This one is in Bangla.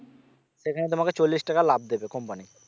সেখানে তোমাকে চল্লিশ টাকা লাভ দেবে company